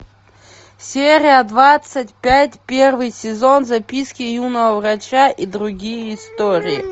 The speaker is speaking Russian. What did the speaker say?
серия двадцать пять первый сезон записки юного врача и другие истории